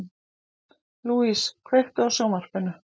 Louise, kveiktu á sjónvarpinu.